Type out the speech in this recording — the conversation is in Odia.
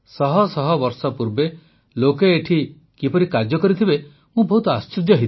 ଶହଶହ ବର୍ଷ ପୂର୍ବେ ଲୋକେ ଏଠାରେ କିପରି କାର୍ଯ୍ୟ କରିଥିବେ ମୁଁ ବହୁତ ଆଶ୍ଚର୍ଯ୍ୟ ହୋଇଥିଲି